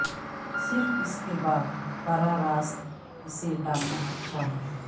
صرف اس کے بعد براہ راست اسے ڈالنا اچھا ہے